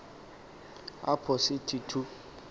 apho sithi thu